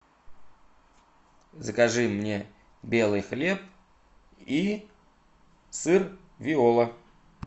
закажи мне белый хлеб и сыр виола